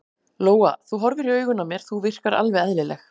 Lóa: Þú horfir í augun á mér, þú virkar alveg eðlileg?